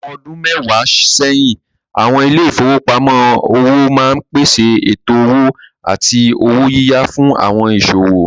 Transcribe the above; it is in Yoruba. Àwọn ọdún mẹ́wàá sẹ́yìn, àwọn ilé ìfowópamọ́ òwò máa ń pèsè ètò owó àti owó yíyá fún àwọn ìsòwò.